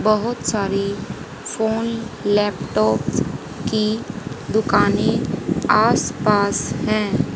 बहुत सारी phone laptops की दुकानें आसपास हैं।